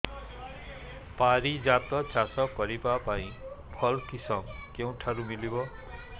ପାରିଜାତ ଚାଷ କରିବା ପାଇଁ ଭଲ କିଶମ କେଉଁଠାରୁ ମିଳିବ